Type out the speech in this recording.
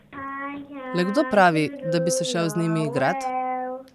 Le kdo pravi, da bi se šel z njimi igrat?